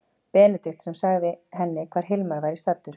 Benedikt sem sagði henni hvar Hilmar væri staddur.